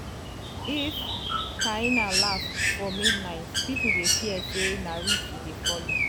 if hyena laugh for um midnight people dey fear say na witch e dey follow.